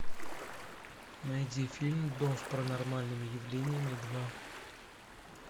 найди фильм дом с паранормальными явлениями два